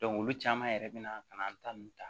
olu caman yɛrɛ be na ka na an ta nunnu ta